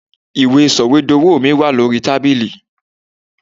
Ìwé Sọ̀wédowó mi wà ní orí tábìlì.